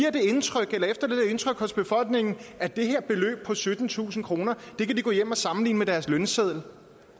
indtryk hos befolkningen at det her beløb på syttentusind kroner kan de gå hjem og sammenligne med deres lønseddel